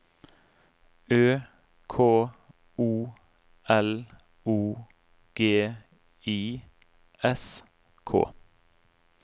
Ø K O L O G I S K